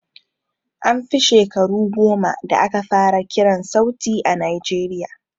An fi shakaru goma da aka fara kiran sauti a najeriya